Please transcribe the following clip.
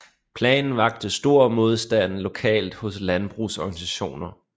Planen vakte stor modstand lokalt hos landbrugsorganisationer